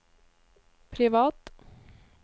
privat